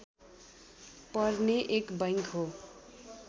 पर्ने एक बैंक हो